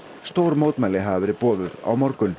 stór mótmæli hafa verið boðuð á morgun